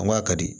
An k'a ka di